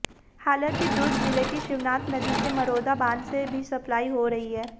हालांकि दुर्ग जिले की शिवनाथ नदी में मरोदा बांध से भी सप्लाई हो रही है